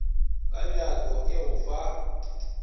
ka bjako e go fa